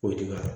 O dun kɛra